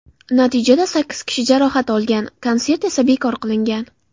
Natijada sakkiz kishi jarohat olgan, konsert esa bekor qilingan.